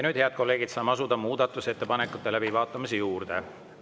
Nüüd, head kolleegid, saame asuda muudatusettepanekute läbivaatamise juurde.